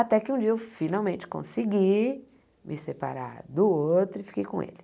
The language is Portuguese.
Até que um dia eu finalmente consegui me separar do outro e fiquei com ele.